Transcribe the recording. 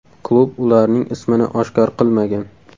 Klub ularning ismini oshkor qilmagan.